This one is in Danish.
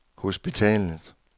hospitalet